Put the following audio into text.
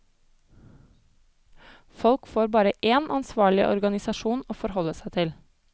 Folk får bare én ansvarlig organisasjon å forholde seg til.